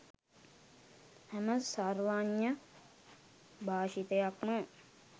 හැම සර්වඥ භාෂිතයක්ම